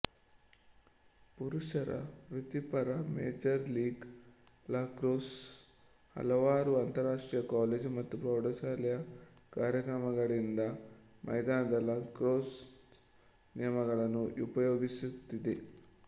ಪುರುಷರ ವೃತ್ತಿಪರ major league lacrosse ಹಲವಾರು ಅಂತರರಾಷ್ಟ್ರೀಯ ಕಾಲೇಜು ಮತ್ತು ಪ್ರೌಢಶಾಲೆಯ ಕಾರ್ಯಕ್ರಮಗಳಿಂದ ಮೈದಾನದ ಲಕ್ರೊಸ್ಸ್ ನಿಯಮಗಳನ್ನು ಉಪಯೋಗಿಸುತ್ತಿದೆ